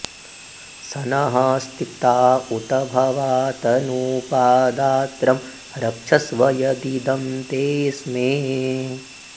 स नः॑ स्ति॒पा उ॒त भ॑वा तनू॒पा दा॒त्रं र॑क्षस्व॒ यदि॒दं ते॑ अ॒स्मे